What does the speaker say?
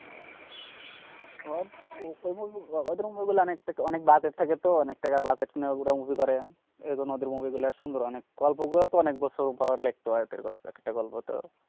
সব ওদের movie গুলো অনেক টাকা অনেক budget থাকেতো, অনেক টাকা budget নিয়ে ওরা movie করে। এইজন্য ওদের movie গুলা সুন্দর অনেক। গল্পগুলাতো অনেক বছর ধরে লেখতে হয় ওদের গল্পের। একটা গল্পতো